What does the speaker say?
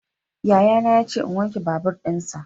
Yayana ya ce in wanke babur dinsa.